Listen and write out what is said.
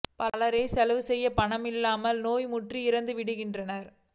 பலரோ செலவு செய்ய பணமில்லாமல் நோய் முற்றி இறந்து விடுகின்றனர்